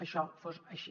això fos així